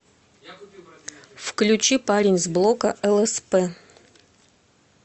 включи парень с блока лсп